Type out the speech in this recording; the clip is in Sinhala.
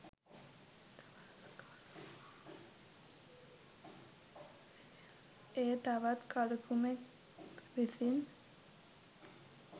ඒ තවත් කලුකුමෙක් විසින්